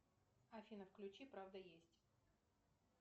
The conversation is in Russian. афина включи правда есть